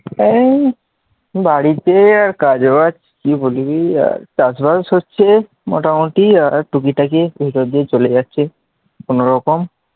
এই বাড়িতে আর কাজ বাজ কি বলি আর চাষবাস হচ্ছে আর মোটামুটি আর টুকিটাকি দিয়ে চলে যাচ্ছে, কোনরকম,